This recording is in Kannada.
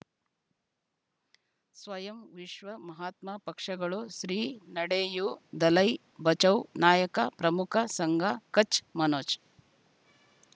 ಸ್ವಯಂ ವಿಶ್ವ ಮಹಾತ್ಮ ಪಕ್ಷಗಳು ಶ್ರೀ ನಡೆಯೂ ದಲೈ ಬಚೌ ನಾಯಕ ಪ್ರಮುಖ ಸಂಘ ಕಚ್ ಮನೋಜ್